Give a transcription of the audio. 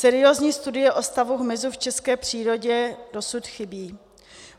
Seriózní studie o stavu hmyzu v české přírodě dosud chybí.